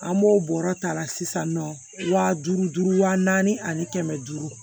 An b'o bɔrɔ ta sisan nɔ wa duuru duuru wa naani ani kɛmɛ duuru